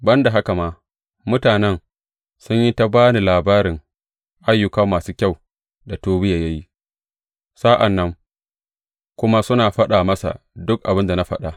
Ban da haka ma, mutanen sun yi ta ba ni labarin ayyuka masu kyau da Tobiya ya yi, sa’an nan kuma suna faɗa masa duk abin da na faɗa.